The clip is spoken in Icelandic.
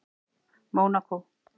Mónakó